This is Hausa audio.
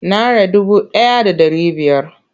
Nara dubu ɗaya da ɗari biyar.